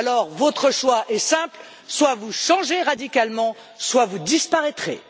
Alors, votre choix est simple soit vous changez radicalement, soit vous disparaissez.